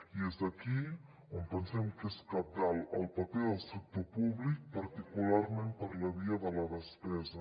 i és aquí on pensem que és cabdal el paper del sector públic particularment per la via de la despesa